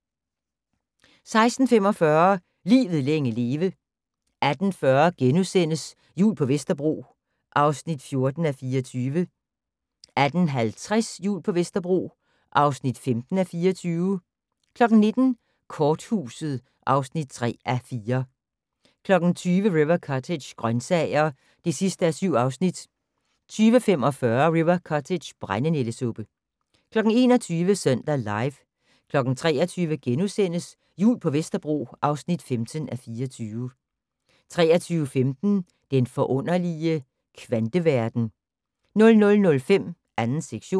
16:45: Livet længe leve 18:40: Jul på Vesterbro (14:24)* 18:50: Jul på Vesterbro (15:24) 19:00: Korthuset (3:4) 20:00: River Cottage - grøntsager (7:7) 20:45: River Cottage - brændenældesuppe 21:00: Søndag Live 23:00: Jul på Vesterbro (15:24)* 23:15: Den forunderlige kvanteverden 00:05: 2. sektion